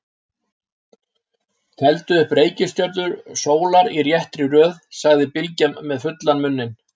Teldu upp reikistjörnur sólar í réttri röð, sagði Bylgja með fullan munn.